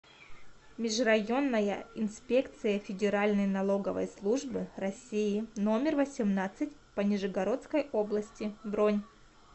межрайонная инспекция федеральной налоговой службы россии номер восемнадцать по нижегородской области бронь